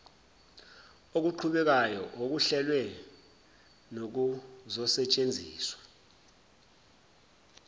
okuqhubekayo okuhlelwe nokuzosetshenziswa